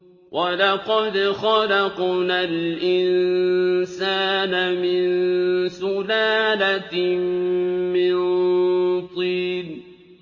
وَلَقَدْ خَلَقْنَا الْإِنسَانَ مِن سُلَالَةٍ مِّن طِينٍ